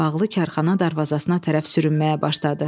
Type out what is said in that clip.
Bağlı karxana darvazasına tərəf sürünməyə başladı.